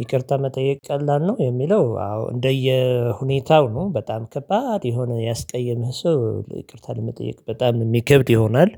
ይቅርታ መጠየቅ ቀላል ነው የሚለው አዎ እንደየ ሁኔታው ነው በጣም ከባድ የሆነ ያስቀየመህ ሰው ይቅርታ ለመጠየቅ በጣም የሚከብድ ይሆናል።